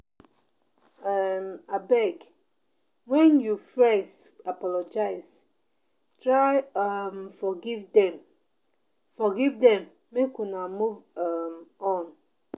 um Abeg, wen you friends apologize, try um forgive dem forgive dem make una move um on.